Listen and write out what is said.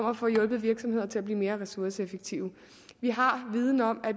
at få hjulpet virksomhederne til at blive mere ressourceeffektive vi har viden om at